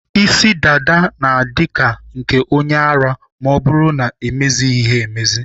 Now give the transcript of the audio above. Isi dada na-adị ka nke onye ara ma ọ bụrụ na-emezighị emezi.